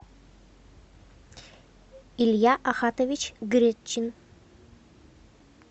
илья ахатович гречин